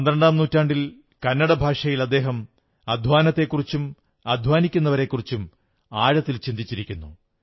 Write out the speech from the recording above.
പന്ത്രണ്ടാം നൂറ്റാണ്ടിൽ കന്നട ഭാഷയിൽ അദ്ദേഹം അദ്ധ്വാനത്തെക്കുറിച്ചും അദ്ധ്വാനിക്കുന്നവരെക്കുറിച്ചും ആഴത്തിൽ ചിന്തിച്ചിരിക്കുന്നു